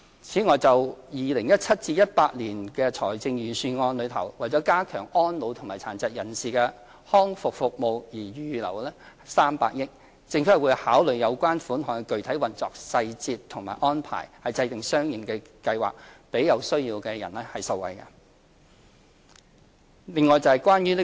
此外，就 2017-2018 年度財政預算案為加強安老和殘疾人士康復服務而預留的300億元，政府會考慮有關款項的具體運用細節及安排，制訂相應的計劃，令有需要人士受惠。